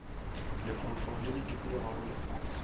lefaufau le le dikologago lefase